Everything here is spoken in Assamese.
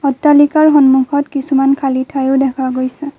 অট্টালিকাৰ সন্মুখত কিছুমান খালী ঠাইও দেখা গৈছে।